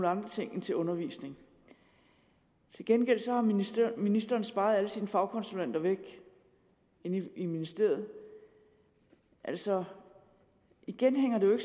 andre ting end til undervisning til gengæld har ministeren ministeren sparet alle sine fagkonsulenter væk i ministeriet altså igen det hænger jo